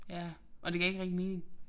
Ja og det gav ikke rigtig mening